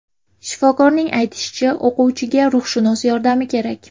Shifokorning aytishicha, o‘quvchiga ruhshunos yordami kerak.